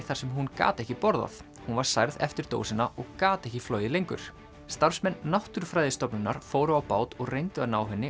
þar sem hún gat ekki borðað hún var særð eftir dósina og gat ekki flogið lengur starfsmenn Náttúrufræðistofnunar fóru á bát og reyndu að ná henni